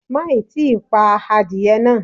Má ì tí pa adìẹ náà.